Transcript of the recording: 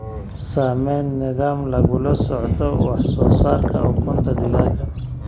Samee nidaam lagula socdo wax soo saarka ukunta digaagga.